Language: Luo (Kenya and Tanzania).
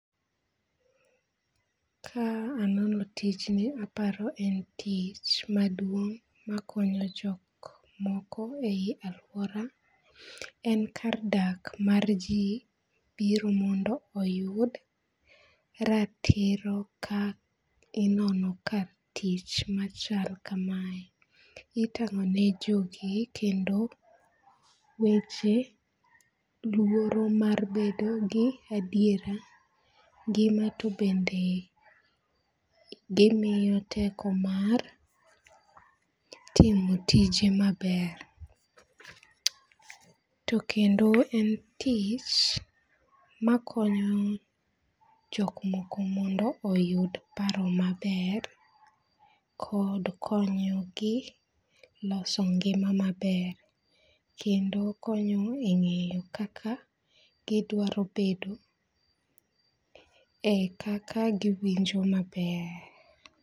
Ka anono tijni aparo en tich madung' makonyo jok moko e aluora, en kar dak mar ji biro mondo oyud ratiro ka inono ka tich machal kamae, itango'ne jogi kendo weche luoro mar bedo gi adiera ngima tu bende gimiyo teko mar timo tije maber, to kendo en tich makonyo jok moko mondo oyud paro maber kod konyogi loso ngi'ma maber kendo konyo e nge'yo kaka gidwaro bedo e kaka giwinjo maber.